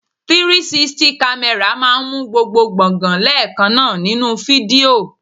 360 camera máa ń mú gbogbo gbongan leekanna nínú fídíò.